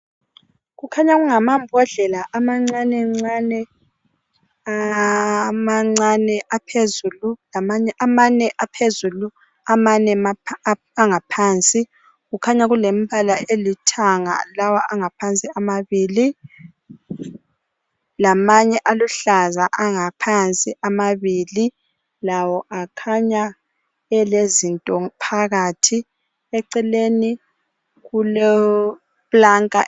Kukhanya kungamabhodlela amancane ncane amane aphezulu amane angaphansi kukhanya kulembala elithanga lawa angaphansi amabili lamanye aluhlaza angaphansi amabili lawo akhanya elezinto phakathi eceleni kulepulanka.